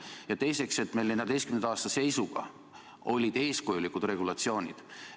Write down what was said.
Ja teiseks, 2014. aastal olid meil eeskujulikud regulatsioonid.